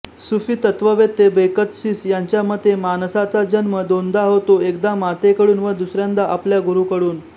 सूफी तत्त्ववेत्ते बेकतशीस यांच्या मते माणसाचा जन्म दोनदा होतो एकदा मातेकडून व दुसऱ्यांदा आपल्या गुरूकडून